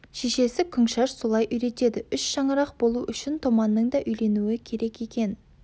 шешесі күңшаш солай үйретеді үш шаңырақ болу үшін томанның да үйленуі керек екен